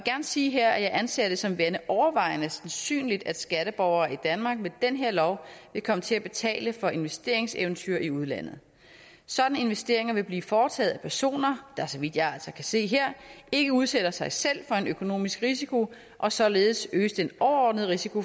sige her at jeg anser det som værende overvejende sandsynligt at skatteborgere i danmark med den her lov vil komme til at betale for investeringseventyr i udlandet sådanne investeringer vil blive foretaget af personer der så vidt jeg altså kan se her ikke udsætter sig selv for en økonomisk risiko og således øges den overordnede risiko